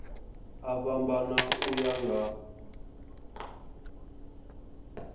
a fhambana u ya nga